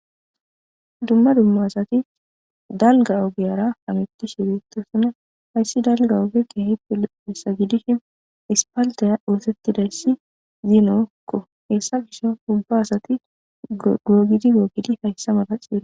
dumma dumma asati dalga ogeyara hamittishi biittosona hayssi dalga ogekke hippe hessa gidishin ispaldeya oosettidayssi zinokko heessa gisho ubba asati googidi googidi hayssa mala ciie